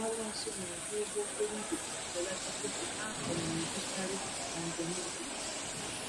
Ha na-anọ nso n'ọdụ ụgbọ-okporo-ígwè iji belata oge a um naegbu-karị, na njem ụtụtụ.